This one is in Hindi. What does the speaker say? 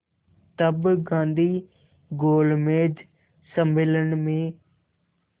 तब गांधी गोलमेज सम्मेलन में